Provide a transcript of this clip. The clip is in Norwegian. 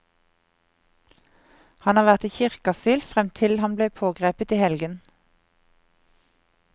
Han har vært i kirkeasyl frem til han ble pågrepet i helgen.